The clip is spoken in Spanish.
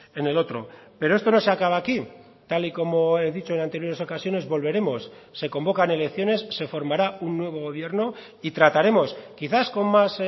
en el otro pero esto no se acaba aquí tal y como he dicho en anteriores ocasiones volveremos se convocan elecciones se formará un nuevo gobierno y trataremos quizás con más